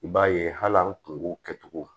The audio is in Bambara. I b'a ye hali an kun k'u kɛcogo